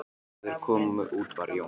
Þegar þeir komu út var Jón